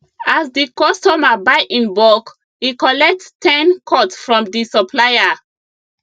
as the customer buy in bulk e collect ten cut from di supplier